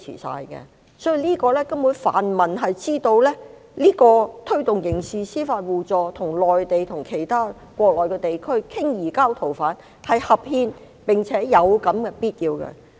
所以泛民根本知道推動刑事司法互助，與內地及國內其他地區商討移交逃犯是合憲，並且是有必要的。